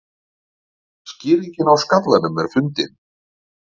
Skýringin á skallanum fundin